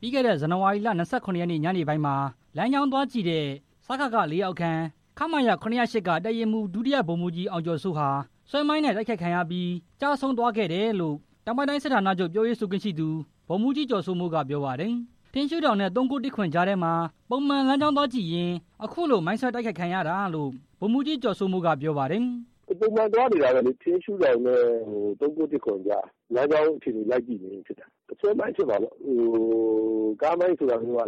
ပြီးခဲ့တဲ့ ဇန်နဝါရီလ ၂၇ ရက်နေ့ညနေပိုင်းမှာ လမ်းကြောင်းသွားကြည့်တဲ့ စကခ (၄)လက်အောက်ခံ ခမရ ၇၀၈ က တပ်ရင်းမှူး ဒုဗိုလ်မှူးကြီး အောင်ကျော်စိုးဟာ ဆွဲမိုင်းနဲ့ တိုက်ခိုက်ခံရလို့ ကျဆုံးသွားခဲ့တယ်လို့ တောင်ပိုင်းတိုင်းစစ်ဌာနချုပ် ပြောရေးဆိုခွင့်ရှိသူ ဗိုလ်မှူးကြီး ကျော်စိုးမိုးက ပြောပါတယ်။ ထင်းရှူးတောင်နဲ့ ၃၉၁၇ ကြားထဲမှာ ပုံမှန်လမ်းကြောင်းကြည့်သွားရင်း အခုလို မိုင်းဆွဲတိုက်ခိုက်ခံရတာလို့ ဗိုလ်မှူးကြီး ကျော်စိုးမိုးက ပြောပါတယ်။ “ပုံမှန်သွားနေတာပဲလေ၊ ထင်းရှူးတောင်နဲ့ ၃၉၁၇ ကြား၊ လမ်းကြောင်းအခြေအနေ ကြည့်ရင်းဖြစ်တာ၊ ဆွဲမိုင်းဖြစ်မှာပေါ့၊ ကားမိုင်းဆိုတာမျိုးက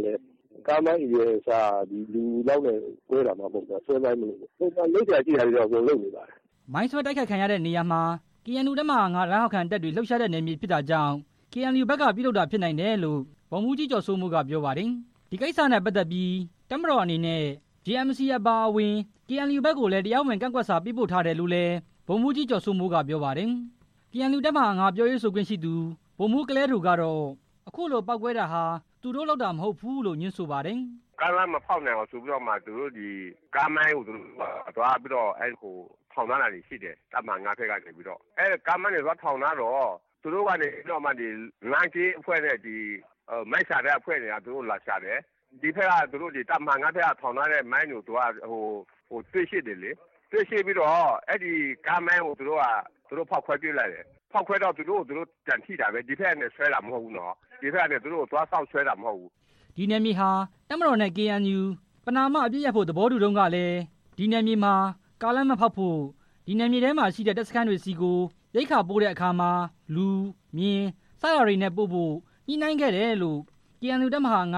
ကားအရွယ်အစားမှ၊ လူလောက်နဲ့ ကွဲတာမဟုတ်တာ ဆွဲမိုင်းမို့လို့ပေါ့၊ ပုံမှန်လုပ်စရာရှိတာတွေတော့ အကုန်လုပ်ထားပါတယ်” ဒီနေရာမှာ မိုင်းဆွဲတိုက်ခိုက်တဲ့နေရာမှာ KNU တပ်မဟာ ၅ လက်အောက်ခံတပ်တွေ လှုပ်ရှားတဲ့နယ်မြေဖြစ်တာကြောင့် KNU ဘက်ကပြုလုပ်တာဖြစ်နိုင်တယ်လို့ ဗိုလ်မှူးကြီး ကျော်စိုးမိုးက ပြောပါတယ်။ ဒီကိစ္စနဲ့ပတ်သက်ပြီး တပ်မတော်အနေနဲ့ JMC အပါအဝင် KNU ဘက်ကို တရားဝင်ကန့်ကွက်စာ ပို့ထားတယ်လို့လည်း ဗိုလ်မှူးကြီး ကျော်စိုးမိုးက ပြောပါတယ်။ KNU တပ်မဟာ ၅ ပြောရေးဆိုခွင့်ရှိသူ ဗိုလ်မှူး ကလယ်ဒိုကတော့ အခုလို ပေါက်ကွဲတာဟာ သူတို့လုပ်တာမဟုတ်ဘူးလို့ ငြင်းဆိုဆိုပါတယ်။ “ကားလမ်းမဖောက်နိုင်အောင်ဆိုပြီး ကားမိုင်းသွားထောင်ထားတာတော့ရှိတယ်၊ KNU တပ်မဟာ ၅ နယ်မြေမှာ၊ သူတို့ကနေပြီးတော့ လမ်းကင်းနဲ့ မိုင်းရှာတဲ့သူတွေက လာရှာတယ်၊ သူတို့က တပ်မဟာ ၅ က ထောင်တဲ့မိုင်းတွေက တွေ့တယ်၊ တွေတော့ ကားမိုင်းကို သူတို့ဖောက်ခွဲပစ်လိုက်တယ်၊ ဖောက်ခွဲတော့ သူတို့ဟာသူတို့ထိတာ၊ ဒီဘက်က ဖောက်ခွဲတာ မဟုတ်ဘူးနော်၊ ဒီဘက်ကသွားပြီး မိုင်းဆွဲတာမဟုတ်ဘူး” ဒီနယ်မြေဟာ တပ်မတော်နဲ့ KNU ပဏမာအပစ်ရပ်ဖို့ သဘောတူတုန်းကတည်း လွန်ခဲ့တဲ့ ၂ နှစ်ကျော် ကာလလောက်က ဒီနေမြေထဲမှာ ကားလမ်းမဖောက်ဖို့၊ ဒီနယ်မြေထဲမှာရှိတဲ့ တပ်မတော် စခန်းတွေဆီကို ရိက္ခာပို့တဲ့အခါမှာ လူ၊ မြင်း စတာတွေနဲ့ပို့ဖို့ ညှိနှိုင်းခဲ့တယ်လို့ KNU တပ်မဟာ ၅ က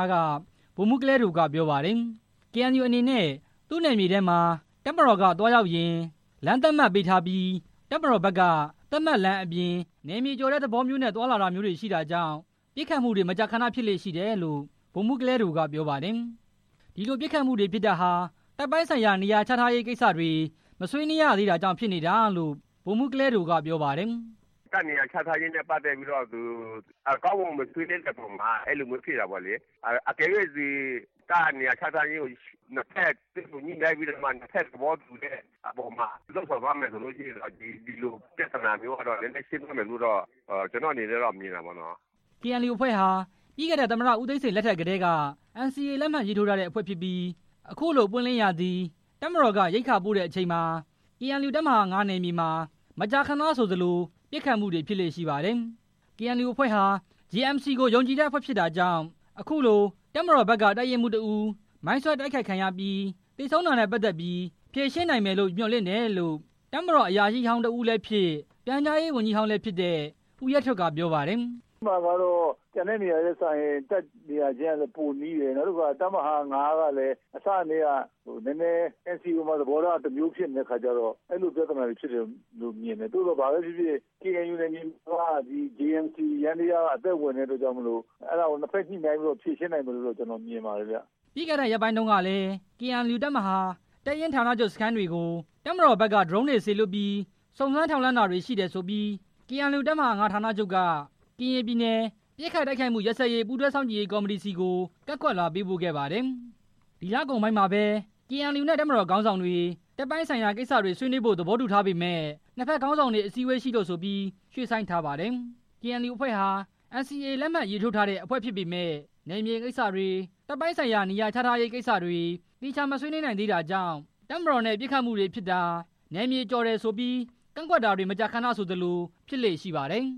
ဗိုလ်မှူး ကလယ်ဒိုက ပြောပါတယ်။ KNU အနေနဲ့ သူနယ်မြေထဲမှာ တပ်မတော်ကသွားရောက်ရင် လမ်းသတ်မှတ်ပေးထားပြီး တပ်မတော်ဘက်က သတ်မှတ်လမ်းအပြင် နယ်မြေကျော်တဲ့သဘောမျိုးနဲ့ သွားလာတာတွေရှိတာကြောင့် ပစ်ခတ်မှုတွေ မကြာခဏဖြစ်လေ့ရှိတယ်လို့ ဗိုလ်မှူး ကလယ်ဒိုက ပြောပါတယ်။ ဒီလိုပစ်ခတ်မှုတွေဖြစ်တာဟာ တပ်ပိုင်းဆိုင်ရာ နေရာချထားရေးကိစ္စတွေ မဆွေးနွေးရသေးတာကြောင့် ဖြစ်နေတာလို့ ဗိုလ်မှူး ကလယ်ဒိုက ပြောပါတယ်။ “တပ်နေရာချထားရေးနဲ့ ပတ်သက်ပြီး ကောင်းကောင်းမွန်မွန် မဆွေးနွေးတဲ့အပေါ်မှာ အဲလိုမျိုးဖြစ်တာပေါ့လေ၊ တကယ်လို့ တပ်နေရာချထားရေးနဲ့ ပတ်သက်ပြီး နှစ်ဖက်တွေ့ဆုံညှိနှိုင်းပြီးတော့မှ နှစ်ဖက်သဘောတူတဲ့အပေါ်မှာ လုပ်ဆောင်သွားမယ်ဆိုရင် ဒီလိုပြဿနာမျိုးဟာ နည်းနည်းရှင်းသွားမယ်လို့ ကျနော်အနေနဲ့တော့ မြင်တာပေါ့နော်” KNU အဖွဲ့ဟာ ပြီးခဲ့တဲ့ သမ္မတဦးသိန်းစိန် လက်ထပ်ကတည်းက NCA လက်မှတ်ရေးထိုးခဲ့တဲ့အဖွဲ့ဖြစ်ပြီး အခုလို ပွင့်လင်းရာသီ တပ်မတော်က ရိက္ခာပို့တဲ့အချိန်မှာ KNU တပ်မဟာ ၅ နယ်မြေမှာ မကြာခဏဆို ပစ်ခတ်မှုတွေဖြစ်လေ့ရှိပါတယ်။ KNU အဖွဲ့ဟာ JMC ကို ယုံကြည်တဲ့အဖွဲ့ဖြစ်တာကြောင့် အခုလို တပ်မတော်ဘက်က တပ်ရင်းမှူး တစ်ဦးမိုင်းဆွဲတိုက်ခိုက်ခံပြီး သေဆုံးခဲ့တာနဲ့ပတ်သက်ပြီး ဖြေရှင်းနိုင်မယ်လို့ မျှော်လင့်တယ်လို့ တပ်မတော် အရာရှိဟောင်းတစ်ဦးလည်းဖြစ် ပြန်ကြားရေးဝန်ကြီးဟောင်းလည်းဖြစ်တဲ့ ဦးရဲထွဋ်က ပြောပါတယ်။ “အဲမှာကတော့ ကျန်တဲ့နေရာတွေနဲ့စာရင် တပ်နေရာချင်းက ပိုနီးတယ်၊တပ်မဟာ ၅ က အစကတည်းက NCA အပေါ်မှာ သဘောထားက တစ်မျိုးဖြစ်နေတော့ အဲလိုပြဿနာဖြစ်တယ်လို့မြင်တယ်၊ သို့သော် ဘာပဲဖြစ်ဖြစ် KNU နယ်မြေမှာ JMC ယန္တရားက အသက်ဝင်တာကြောင့် အဲဒါကိုနှစ်ဖက်ညှိနှိုင်းပြီး ဖြေရှင်းနိုင်မယ်လို့ မြင်ပါတယ်” ပြီးခဲ့တဲ့ရက်ပိုင်းတုန်းကလည်း KNU တပ်မဟာ၊ တပ်ရင်းဌာနချုပ်စခန်းတွေကို တပ်မတော်ဘက်က ဒရုန်းတွေစေလွှတ်ပြီး စုံစမ်းထောက်လှမ်းတာတွေရှိတယ်ဆိုပြီး KNU တပ်မဟာ ၅ ဌာနချုပ်က ကရင်ပြည်နယ် ပစ်ခတ်တိုက်ခိုက်မှုရပ်စဲရေးဆိုင်ရာ ပူးတွဲစောင့်ကြည့်ရေး ကော်မတီဆီကို ကန့်ကွက်လွှာ ပေးပို့ခဲ့ပါတယ်။ ဒီလကုန်ပိုင်းမှာပဲ KNU နဲ့ တပ်မတော်ခေါင်းဆောင်တွေ တပ်ပိုင်းဆိုင်ရာကိစ္စတွေဆွေးနွေးဖို့ သဘောတူထားပေမယ့် နှစ်ဘက်ခေါင်းဆောင်တွေ အစည်းအဝေးရှိလို့ဆိုပြီး ရွှေ့ဆိုင်းထားပါတယ်။ KNU အဖွဲ့ဟာ NCA လက်မှတ်ရေးထိုးတဲ့အဖွဲ့ဖြစ်ပေမယ့် နယ်မြေကိစ္စတွေ၊ တပ်ပိုင်းဆိုင်ရာ နေရာချထားရေးကိစ္စတွေ သေချာမဆွေးနွေးနိုင်သေးတာကြောင့် တပ်မတော်နဲ့ ပစ်ခတ်မှုတွေဖြစ်တာ၊ နယ်မြေကျော်တယ်ဆိုပြီး ကန့်ကွက်တာတွေ မကြာခဏဆိုသလို ဖြစ်လေ့ရှိပါတယ်။